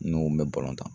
N'o bɛ tan